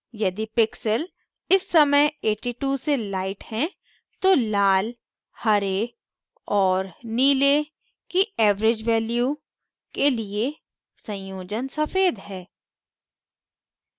यदि pixel इस समय 82 से lighter है तो लाल हरे और नीले की average value के लिए संयोजन सफ़ेद है